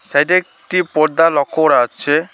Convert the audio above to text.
সাইডে একটি পর্দা লক্ষ্য করা যাচ্ছে।